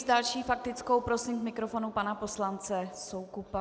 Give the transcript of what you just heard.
S další faktickou prosím k mikrofonu pana poslance Soukupa.